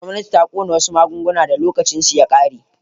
Gwamnati ta kona wasu magunguna da lokacin ya ƙare.